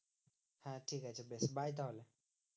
হ্যাঁ ঠিকাছে বেশ bye তাহলে?